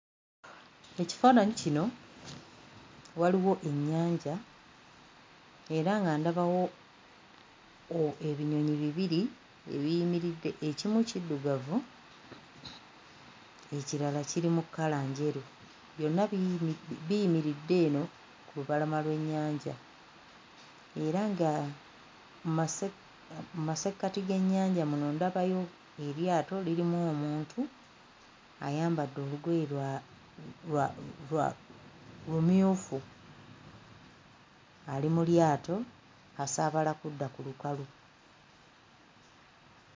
Ekifaananyi kino waliwo ennyanja era nga ndabawo o ebinyonyi bibiri ebiyimiridde, ekimu kiddugavu ekirala kiri mu kkala njeru, byonna biyiri biyimiridde eno ku lubalama lw'ennyanja era nga masse mu masekkati g'ennyanja muno ndabayo eryato lirimu omuntu ayambadde olugoye lwa lwa lwa lumyufu ali mu lyato asaabala kudda ku lukalu.